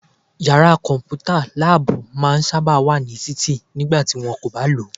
Yàrá kọ̀mpútà/láàbù máa n sáábà wà ní títì nígbà tí wọ́n kò bá lòó